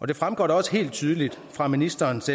det fremgår da også helt tydeligt fra ministerens